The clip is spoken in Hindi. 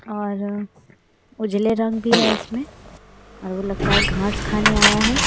और उजले रंग भी है इसमें और वो लगता है घास खाने आया है।